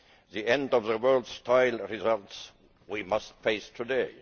The end of the world style results we must face today.